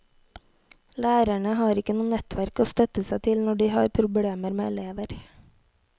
Lærerne har ikke noe nettverk å støtte seg til når de har problemer med elever.